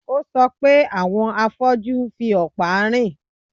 Ó sọ pé àwọn afọ́jú ń fi ọ̀pá rìn